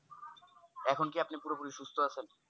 এখন কি আপনি পুরা পুরী সুস্থ আছেন